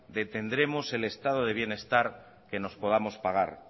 de tendremos el estado de bienestar que nos podamos pagar